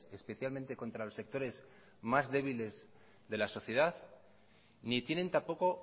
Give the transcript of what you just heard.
especialmente contra los sectores más débiles de la sociedad ni tienen tampoco